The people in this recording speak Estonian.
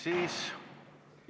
Istung on lõppenud.